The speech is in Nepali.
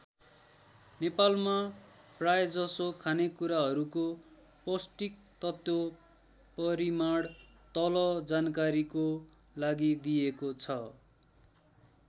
नेपालमा प्रायजसो खानेकुराहरूको पौष्टिक तत्त्व परिमाण तल जानकारीको लागि दिइएको छ।